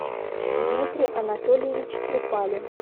дмитрий анатольевич трепалин